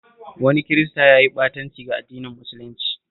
Wani Kirista ya yi ɓatanci ga addinin musulunci